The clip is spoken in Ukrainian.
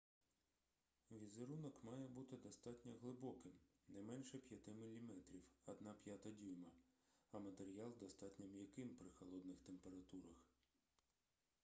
візерунок має бути достатньо глибоким не менше 5 мм 1/5 дюйма а матеріал достатньо м'яким при холодних температурах